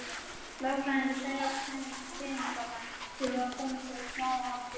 Lögfræðingar þeirra og peningamenn þurfa að komast í smáatriðin.